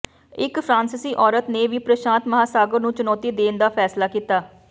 ਇੱਕ ਫਰਾਂਸੀਸੀ ਔਰਤ ਨੇ ਵੀ ਪ੍ਰਸ਼ਾਂਤ ਮਹਾਂਸਾਗਰ ਨੂੰ ਚੁਣੌਤੀ ਦੇਣ ਦਾ ਫੈਸਲਾ ਕੀਤਾ